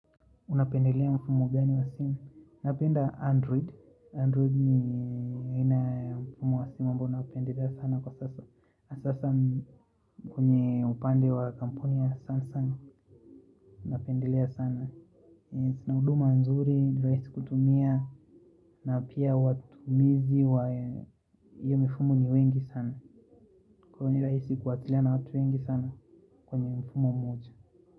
Unapendelea mfumo gani wa simu, napenda android, android ni ina mfumo wa simu mbo unapendelea sana kwa sasa Asasa kwenye upande wa kamponia sana sana, unapendelea sana Sinauduma nzuri, nilaisi kutumia na pia watu mizi wa iyo mfumo ni wengi sana kwenye raisi kuatilea na watu wengi sana kwenye mfumo moja.